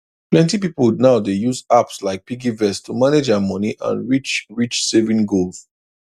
plenty people now dey use apps like piggyvest to manage dia money and reach reach saving goal